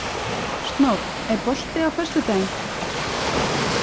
Snót, er bolti á föstudaginn?